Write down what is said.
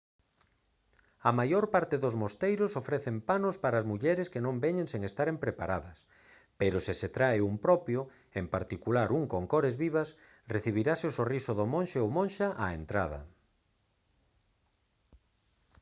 a maior parte dos mosteiros ofrecen panos para as mulleres que non veñen sen estaren preparadas pero se se trae un propio en particular un con cores vivas recibirase o sorriso do monxe ou monxa á entrada